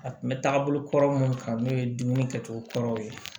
A kun bɛ taa bolokɔrɔ minnu kan n'o ye dumuni kɛ cogo kuraw ye